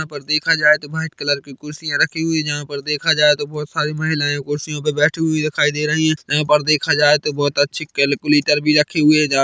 यहाँ पर देखा जाए तो व्हाइट कलर की कुर्सियाँ रखी हुई है जहाँ पर देखा जाए तो बहोत सारी महिलाएं कुर्सियों पे बैठी हुई दिखाई दे रही है यहाँ पर देखा जाए तो बहुत अच्छी कैलकुलेटर भी रखी हुई है जहाँ--